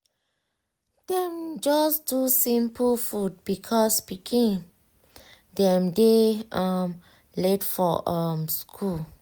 dem just do simple food because pikin dem dey um late for um school.